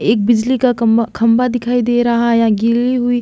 एक बिजली का कम्भा खम्भा दिखाई दे रहा है यह गीरी हुई--